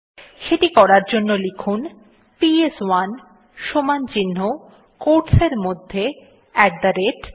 সেটি করার জন্য লিখুন পিএস1 equal টো quotes এর মধ্যে আত থে রাতে